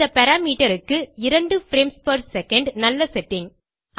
இந்த parameterக்கு 2 frames per second நல்ல செட்டிங்